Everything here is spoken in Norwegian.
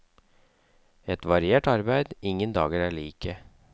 Et variert arbeid, ingen dager er like.